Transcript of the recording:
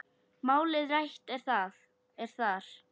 Málið rætt er þar.